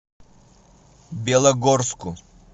белогорску